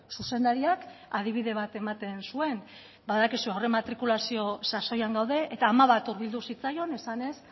zuzendariak adibide bat ematen zuen badakizu aurrematrikulazio sasoian gaude eta ama bat hurbildu zitzaion esanez